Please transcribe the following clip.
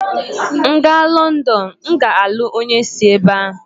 M gaa Lọndọn, m ga-alụ onye si ebe ahụ.